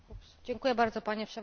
Panie Przewodniczący!